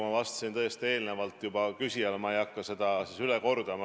Ma tõesti ühele küsijale sel teemal juba vastasin ja ma ei hakka seda üle kordama.